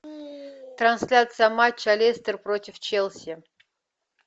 трансляция матча лестер против челси